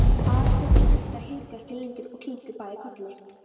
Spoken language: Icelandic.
Aðalsteinn og Edda hikuðu ekki lengur og kinkuðu bæði kolli.